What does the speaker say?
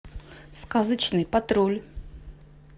сказочный патруль